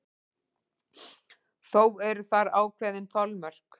Þó eru þar ákveðin þolmörk.